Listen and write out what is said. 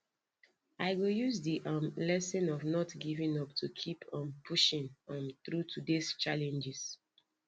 i go use di um lesson of not giving up to keep um pushing um through todays challenges